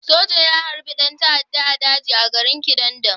Soja ya harbi ɗan ta'adda a daji a garin Kidandan?